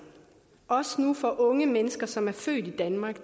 også nu for unge mennesker som er født i danmark